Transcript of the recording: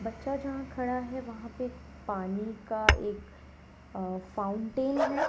बच्चा जहां खड़ा है वहां पे पानी का एक अ फाउंटेन है।